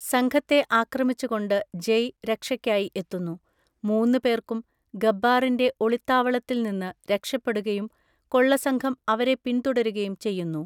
സംഘത്തെ ആക്രമിച്ചുകൊണ്ട് ജയ് രക്ഷയ്ക്കായി എത്തുന്നു, മൂന്ന് പേർക്കും ഗബ്ബാറിന്‍റെ ഒളിത്താവളത്തിൽ നിന്ന് രക്ഷപ്പെടുകയും കൊള്ളസംഘം അവരെ പിന്‍തുടരകയും ചെയ്യുന്നു.